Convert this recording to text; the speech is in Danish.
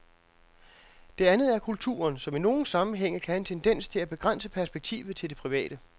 Det andet er kulturen, som i nogle sammenhænge kan have en tendens til at begrænse perspektivet til det private.